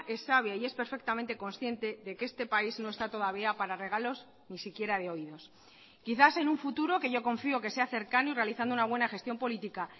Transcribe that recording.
es sabia y es perfectamente consciente de que este país no está todavía para regalos ni siquiera de oídos quizás en un futuro que yo confío que sea cercano y realizando una buena gestión política